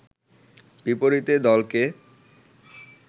বিপরীতে দলকে